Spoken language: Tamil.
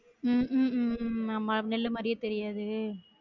உம் உம் உம் உம் ஆமா நெல்லு மாறியே தெரியாது